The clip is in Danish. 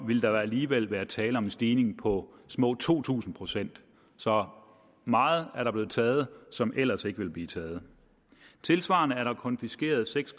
vil der alligevel være tale om en stigning på små to tusind procent så meget er der blevet taget som ellers ikke ville blive taget tilsvarende er der konfiskeret seks